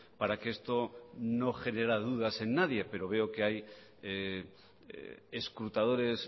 para que esto no generara dudas en nadie pero veo que hay escrutadores